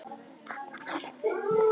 Louise, hvað er á innkaupalistanum mínum?